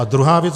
A druhá věc.